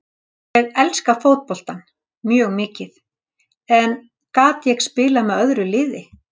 Ég elska fótboltann, mjög mikið, en gat ég spilað með öðru liði?